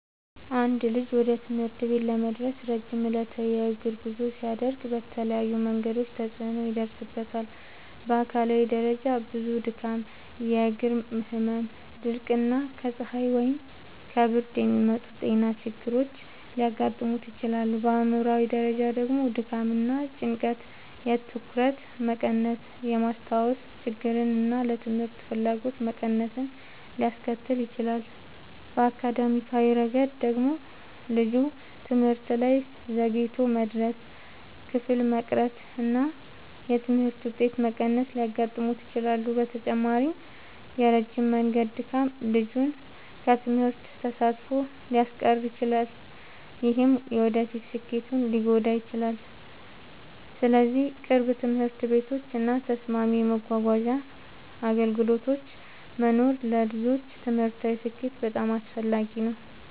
አንድ ልጅ ወደ ትምህርት ቤት ለመድረስ ረጅም ዕለታዊ የእግር ጉዞ ሲያደርግ በተለያዩ መንገዶች ተጽዕኖ ይደርስበታል። በአካላዊ ደረጃ ብዙ ድካም፣ የእግር ህመም፣ ድርቀት እና ከፀሐይ ወይም ከብርድ የሚመጡ ጤና ችግሮች ሊያጋጥሙት ይችላሉ። በአእምሯዊ ደረጃ ደግሞ ድካም እና ጭንቀት የትኩረት መቀነስን፣ የማስታወስ ችግርን እና ለትምህርት ፍላጎት መቀነስን ሊያስከትል ይችላል። በአካዳሚያዊ ረገድ ደግሞ ልጁ ትምህርት ላይ ዘግይቶ መድረስ፣ ክፍል መቅረት እና የትምህርት ውጤት መቀነስ ሊያጋጥሙት ይችላሉ። በተጨማሪም የረጅም መንገድ ድካም ልጁን ከትምህርት ተሳትፎ ሊያስቀር ይችላል፣ ይህም የወደፊት ስኬቱን ሊጎዳ ይችላል። ስለዚህ ቅርብ ትምህርት ቤቶች እና ተስማሚ የመጓጓዣ አገልግሎቶች መኖር ለልጆች ትምህርታዊ ስኬት በጣም አስፈላጊ ነው።